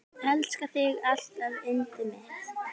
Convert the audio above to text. Elska þig alltaf yndið mitt.